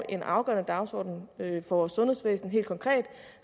en afgørende dagsorden for vores sundhedsvæsen helt konkret